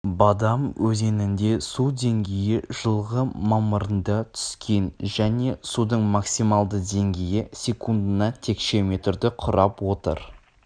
бадам өзенінде су деңгейі жылғы мамырында түскен және судың максималды деңгейі секундына текше метрді құрап отыр